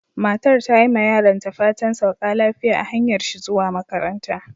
Matar ta yi ma yaronta fatan "sauka lafiya" a hanyar shi zuwa makaranta.